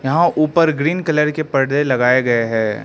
यहां ऊपर green colour के पर्दे लगाएं गए हैं।